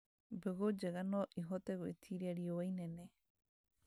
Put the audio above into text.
Mbegu njega no ihote gwĩtiria riũa inene